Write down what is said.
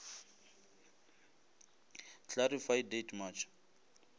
clarify date march